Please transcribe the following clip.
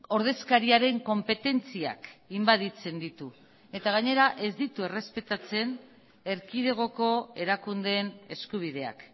ordezkariaren konpetentziak inbaditzen ditu eta gainera ez ditu errespetatzen erkidegoko erakundeen eskubideak